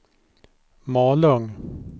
Malung